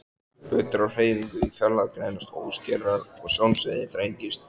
Hlutir á hreyfingu í fjarlægð greinast óskýrar og sjónsviðið þrengist.